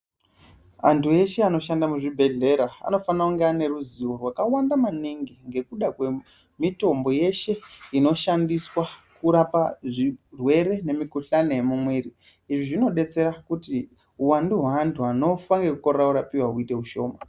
Antu eshe anoshanda muzvibhedhlera anofana kunge aine ruzivo rwakawanda maningi ngekuda kwemitombo yeshe inoshandiswa kurapa zvirwere nemukuhlani yemumwiri izvi zvinobetsera kuti huwandu hweantu vanofa nekukorewa kurapiwa huite hushoma.